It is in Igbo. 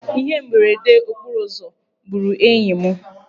Ihe mberede okporoụzọ gburu enyi m.